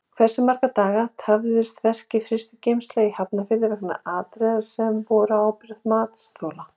Hversu marga daga tafðist verkið Frystigeymsla í Hafnarfirði vegna atriða sem voru á ábyrgð matsþola?